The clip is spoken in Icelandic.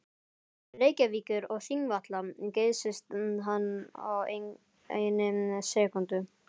Reykjavíkur og Þingvalla geysist hann á einni sekúndu.